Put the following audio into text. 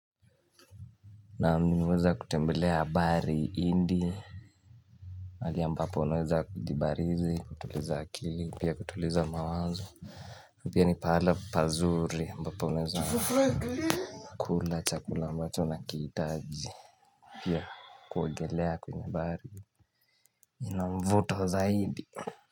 Naam nimeweza kutembelea bahari hindi pahalili ambapo unweza kujibarizi kutuliza akili pia kutuliza mawazo pia ni pahala pazuri ambapo unweza kula chakula ambacho una kihitaji Pia kuogelea kwenye bahari ina mvuto zaidi.